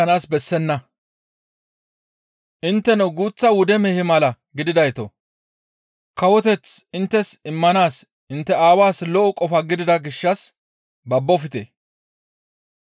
«Intteno guuththa wude mehe mala gididaytoo! Kawoteth inttes immanaas intte Aawaas lo7o qofa gidida gishshas babbofte.